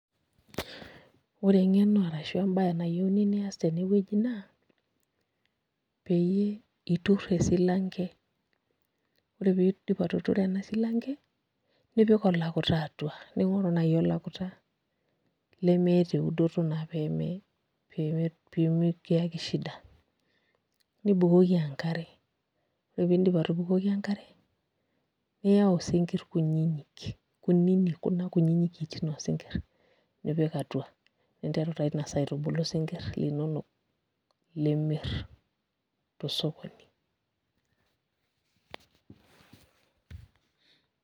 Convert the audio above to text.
Ore eng'eno arashu embaye nayieuni nias tenewueji naa pee iturr esilanke ore pee iindip atuturo ena silanke nipik olakuta atua ning'oru naai olakuta lemeeta eudoto naa pee me kiyaki shida nibukoki enkare ore piindip atubukoki enkare niyau sii isinkirr kunyinyik kuna kiitin oosinkirr nipik atua ninteru taa ina saa aitubulu isinkirr linonok limirr tosokoni.